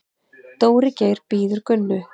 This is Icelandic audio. Dóri Geir bíður Gunnu.